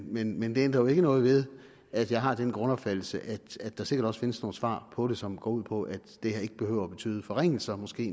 men men det ændrer jo ikke noget ved at jeg har den grundopfattelse at der sikkert også findes nogle svar på det som går ud på at det her ikke behøver at betyde forringelser måske